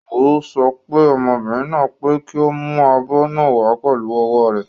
Wọ́n sọ fún ọmọbìnrin náà pé kí ó mú abọ́ náà wàá pẹ̀lú ọwọ́ rẹ̀.